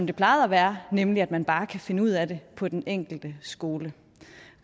det plejede være nemlig at man bare kan finde ud af det på den enkelte skole